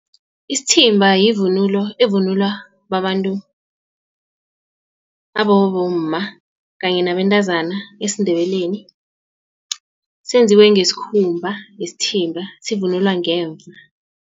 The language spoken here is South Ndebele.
Isithimba yivunulo evunulwa babantu abobomma kanye nabentazana esiNdebeleni. Senziwe ngesikhumba isithimba sivunulwa ngemva.